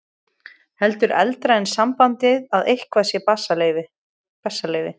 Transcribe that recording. Heldur eldra er sambandið að eitthvað sé bessaleyfi.